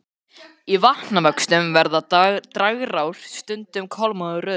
Í vatnavöxtum verða dragár stundum kolmórauðar.